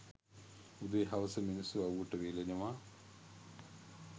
උදේ හවස මිනිස්සු අව්වට වේලෙනවා